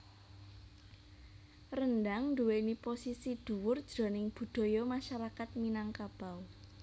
Rendhang nduwèni posisi dhuwur jroning budaya masyarakat Minangkabau